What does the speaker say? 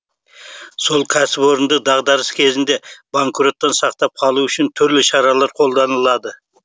сол кәсіпорынды дағдарыс кезінде банкроттан сақтап қалу үшін түрлі шаралар қолданылады